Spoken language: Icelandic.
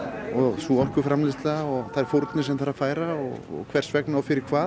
sú orkuframleiðsla og þær fórnir sem þarf að færa og hvers vegna og fyrir hvað